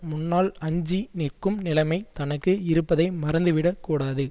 முன்னால் அஞ்சி நிற்கும் நிலமை தனக்கு இருப்பதை மறந்துவிடக் கூடாது